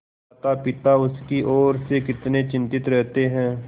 मातापिता उसकी ओर से कितने चिंतित रहते हैं